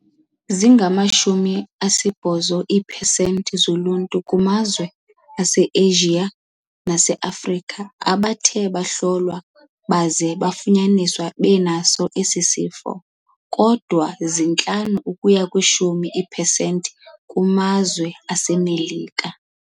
Zingamashumi asibhozo iiphesenti zoluntu kumazwe aseAsia naseAfrika abathe bahlolwa baze bafunyaniswa enaso esi sifo, kodwa zintlanu ukuya kwishumi iiphesenti kumazwe aseMelika.